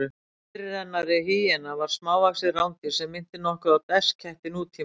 Fyrirrennari hýena var smávaxið rándýr sem minnti nokkuð á desketti nútímans.